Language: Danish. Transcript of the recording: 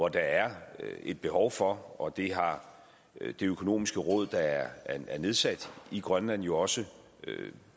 at der er et behov for og det har det økonomiske råd der er nedsat i grønland jo også